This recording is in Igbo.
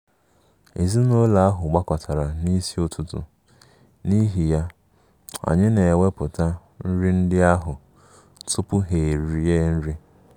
Ezinụlọ ahụ gbakọtara n’isi ụtụtụ, n’ihi ya, anyị na-ewepụta nri ndị ahụ tupu ha erie nri